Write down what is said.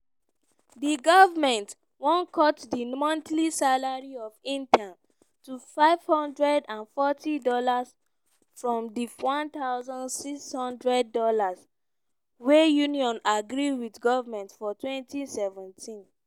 di goment wan cut di monthly salary of interns to $540 from di $1600 wey unions agree wit goment for 2017.